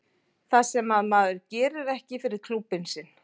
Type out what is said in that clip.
Það sem að maður gerir ekki fyrir klúbbinn sinn.